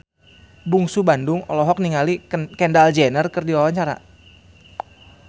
Bungsu Bandung olohok ningali Kendall Jenner keur diwawancara